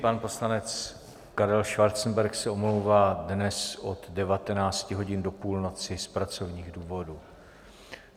Pan poslanec Karel Schwarzenberg se omlouvá dnes od 19 hodin do půlnoci z pracovních důvodů.